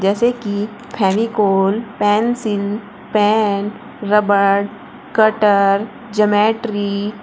जैसे कि Fevicol pencil pen rubber cutter geometry --